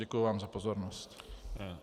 Děkuji vám za pozornost.